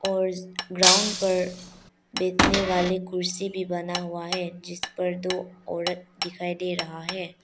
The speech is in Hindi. और ग्राउंड पर बैठने वाले कुर्सी भी बना हुआ है जिस पर दो औरत दिखाई दे रहा है।